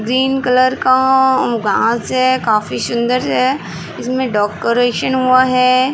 Green colour का घास है। काफी सुंदर से है। इसमें डोकोरेशन हुआ है।